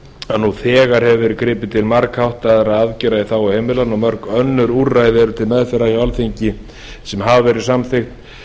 að nú þegar hefur verið gripið til margháttaðra aðgerða í þágu heimilanna og mörg önnur úrræði eru til meðferðar hjá alþingi eða hafa þegar verið samþykkt